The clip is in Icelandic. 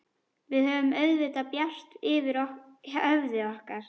Við höfum auðvitað bjart yfir höfði okkar.